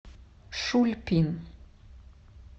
шульпин